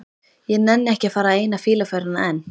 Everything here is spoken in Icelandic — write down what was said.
Ég nenni ekki að fara eina fýluferðina enn.